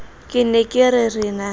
ke ne ke re na